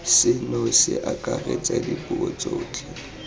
seno se akaretsa dipuo tsotlhe